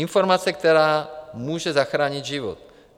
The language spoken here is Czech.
Informace, která může zachránit život.